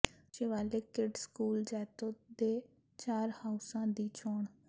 Shivalik kids school Jaito ਦੇ ਚਾਰ ਹਾਊਸਾਂ ਦੀ ਚੋਣ